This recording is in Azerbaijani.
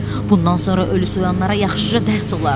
Bundan sonra ölü soyanlara yaxşıca dərs olar.